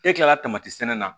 E kilala sɛnɛ na